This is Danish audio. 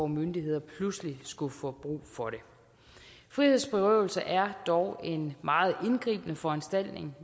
myndigheder pludselig skulle få brug for dem frihedsberøvelse er dog en meget indgribende foranstaltning